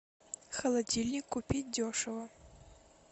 холодильник купить дешево